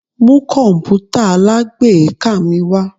Mu kọǹpútà alágbèéká mi wá!